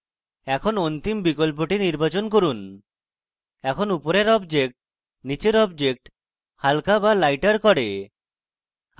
এখন অন্তিম বিকল্পটি নির্বাচন করি এখানে উপরের objects নীচের objects হালকা বা লাইটার করে